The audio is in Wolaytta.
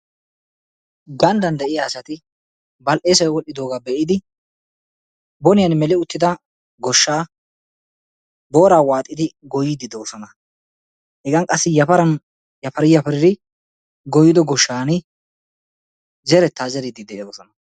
ganddaan de'iyaa sati bal"eessay wol"idogaa be"idi bonniyaan meeli uttida goshshaa booraa waaxidi gooyyiidi de'oosona. hegan qassi yafaran yafari yafari gooyyido gooshshan zerettaa zeeridi de'oosona.